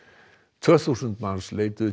tvö þúsund manns leituðu